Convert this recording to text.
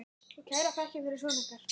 Og kærar þakkir fyrir son ykkar.